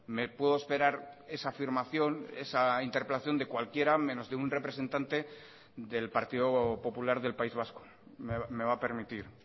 me puedo esperar esa afirmación esa interpelación de cualquiera menos de un representante del partido popular del país vasco me va a permitir